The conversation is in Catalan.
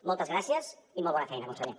moltes gràcies i molt bona feina conseller